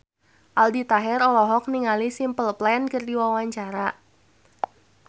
Aldi Taher olohok ningali Simple Plan keur diwawancara